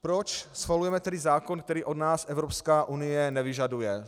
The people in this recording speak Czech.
Proč schvalujeme tedy zákon, který od nás Evropská unie nevyžaduje?